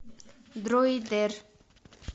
дроидер